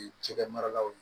Cɛkɛ maralaw